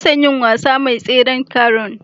Ina son yin wasa da mai tseren taron.